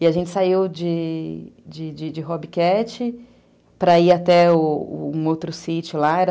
E a gente saiu de de de Hobbit Cat para ir até um outro sítio lá, era